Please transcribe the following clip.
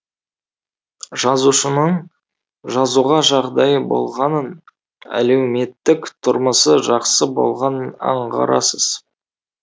жазушының жазуға жағдайы болғанын әлеуметтік тұрмысы жақсы болғанын аңғарасыз